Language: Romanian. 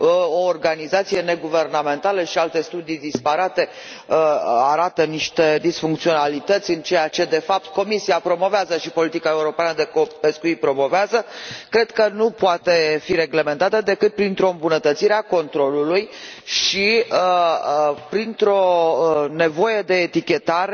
o organizație neguvernamentală și alte studii disparate arată niște disfuncționalități în ceea ce de fapt Comisia și politica europeană de pescuit promovează, cred că nu poate fi reglementată decât printr o îmbunătățire a controlului și printr o nevoie de etichetare